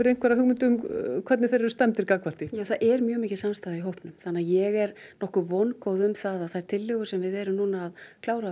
einhverja hugmynd um hvernig þeir eru stemmdir gagnvart því já það er mjög mikil samstaða í hópnum þannig að ég nokkuð vongóð um það að þær tillögur sem við erum að klára